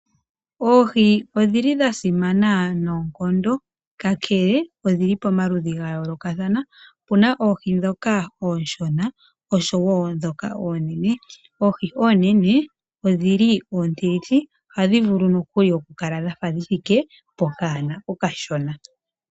Oohi odhi li dha simana noonkondo, kakele odhili pamaludhi gayoolokathana. Opuna oohi ndhoka oonshona oshowoo ndhoka oonene. Oohi oonene odhi li odhindji ,ohadhi vulu nokuli okukala dha fa dhi thike pokanona okashona.